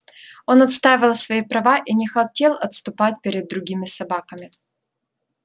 он отстаивал свои права и не хотел отступать перед другими собаками